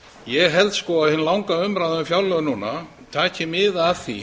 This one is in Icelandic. ég held að hin langa umræða um fjárlög núna taki mið af því